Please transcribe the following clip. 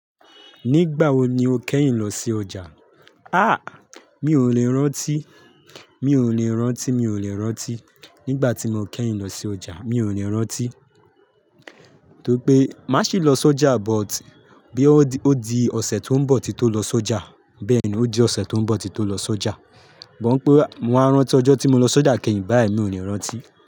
Nígbà wo ni o kẹ́yìn lọ sí ọjà? Àh! Mi ò lè rántí, mi ò lè rántí, mi ò lè rántí. Nígbà tí mo kẹ́yìn lọ sí ọjà mi ò lè rántí. Tó rí pé má sì lọ s'ọjà but bí ó di ọ̀sẹ̀ tó ń bọ̀ tin tó lọ s'ọ́jà, bẹ́ẹ̀ ni ó di ọ̀sẹ̀ tó ń bọ̀ tin tó lọ s'ọ́jà. Bọ̀ ń pé mo wá rántí ọjọ́ tí mo lọ s'ọ́jà kẹ́yìn báyìí mi ò ní rántí.